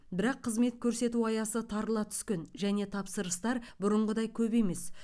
бірақ қызмет көрсету аясы тарыла түскен және тапсырыстар бұрынғыдай көп емес